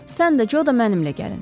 Sən də, Co da mənimlə gəlin.